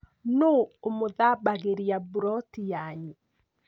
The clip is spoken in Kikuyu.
Nũũ ũmũthambagĩria buroti yanyu?